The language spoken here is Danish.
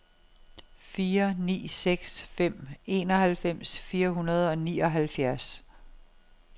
fire ni seks fem enoghalvfems fire hundrede og nioghalvfjerds